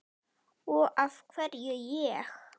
Og af hverju ég?